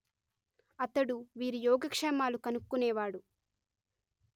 అతడు వీరి యోగక్షేమాలు కనుక్కొనేవాడు